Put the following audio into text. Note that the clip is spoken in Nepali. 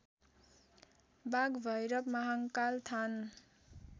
बाघभैरव महाङ्काल थान